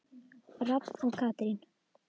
Rafn og Katrín.